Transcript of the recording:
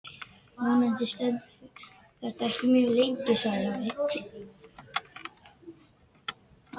Vonandi stendur þetta ekki mjög lengi sagði afi.